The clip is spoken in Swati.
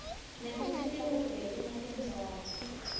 nekutsi tikuphi letinye tindzawo